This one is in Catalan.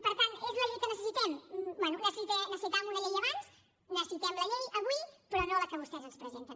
per tant és la llei que necessitem bé necessitàvem una llei abans necessitem la llei avui però no la que vostès ens presenten